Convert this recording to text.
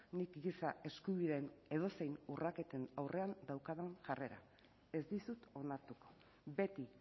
nik giza eskubideen edozein urraketen aurrean daukadan jarrera ez dizut onartuko beti